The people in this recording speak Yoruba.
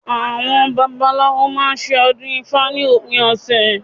Àwọn babaláwo máa ṣe ọdún ifá ní òpin ọ̀sẹ̀ yìí